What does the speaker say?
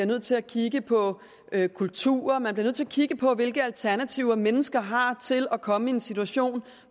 nødt til at kigge på kultur og man bliver nødt til at kigge på hvilke alternativer mennesker har til at komme i en situation